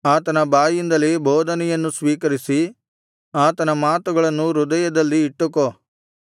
ಆತನ ಬಾಯಿಂದಲೇ ಬೋಧನೆಯನ್ನು ಸ್ವೀಕರಿಸಿ ಆತನ ಮಾತುಗಳನ್ನು ಹೃದಯದಲ್ಲಿ ಇಟ್ಟುಕೋ